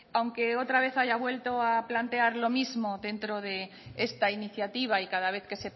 aunque otra vez haya vuelto a plantear lo mismo dentro de esta iniciativa y cada vez que